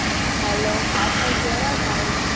hello પાછળ થી અવાજ આવે છે